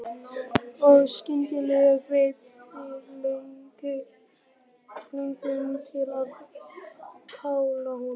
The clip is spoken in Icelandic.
Og skyndilega greip þig löngun til að kála honum.